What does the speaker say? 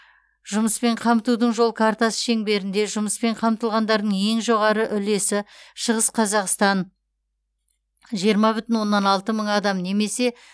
жұмыспен қамтудың жол картасы шеңберінде жұмыспен қамтылғандардың ең жоғары үлесі шығыс қазақстан жиырма бүтін оннан алты мың адам немесе